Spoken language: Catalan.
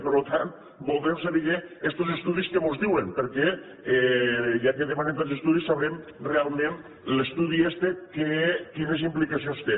per tant voldrem saber estos estudis què mos diuen perquè ja que demanen tants estudis sabrem realment l’estudi este quines implicacions té